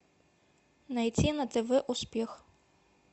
найти на тв успех